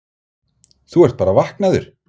Þú ert bara vaknaður.